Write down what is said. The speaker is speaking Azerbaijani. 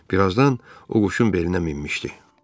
Birazdan o quşun belinə minmişdi.